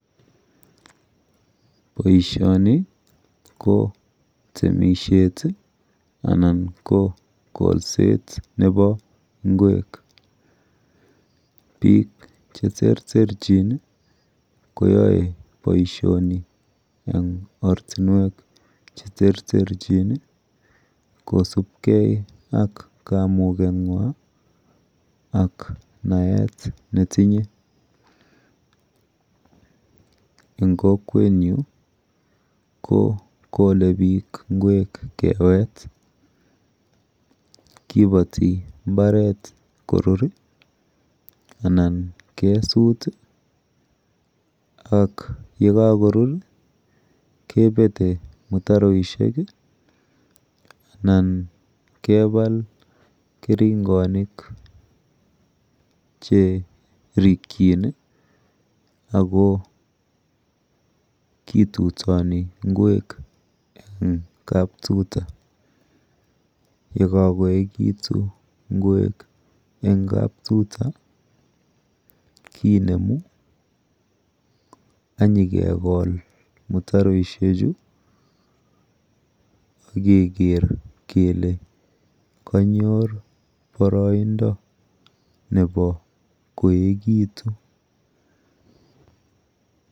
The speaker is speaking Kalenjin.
Boishoni ko temishet tii anan ko kolset nebo ingwek, bik cheterterenchin nii koyoe boishoni en ortinwek cheterterchin nii kosibgee ak kamuget nywan ak naet netinye en kokwenyun ko ole bik ingwek kewet kiboti imbaret koruri ana kesutik tii yekokorur kebete mutaroishek kii anan kebal kerongonik cherikin nii Ako kitutoni ingwek en kaptuta. Yekokoyekitun ingwek en kaptuta ki enemu anyokegol mitaroishek chuu ak keker kele konyor boroindo nebo koyekitun.